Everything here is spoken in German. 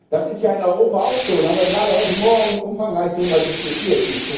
Das ist ja in Europa auch so, und darüber haben wir gerade heute Morgen umfangreich darüber diskutiert.